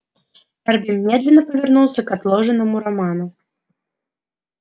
эрби медленно повернулся к отложенному роману